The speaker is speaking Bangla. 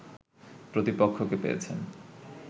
প্রতিপক্ষকে পেয়েছেন